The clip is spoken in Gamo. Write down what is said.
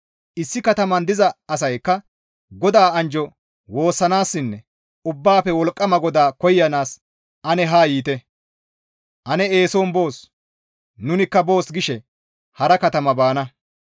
Issi katamayn diza asaykka, ‹GODAA anjjo woossanaassinne Ubbaafe Wolqqama GODAA koyanaas ane haa yiite; ane eeson boos; nunikka boos› gishe hara katama baana.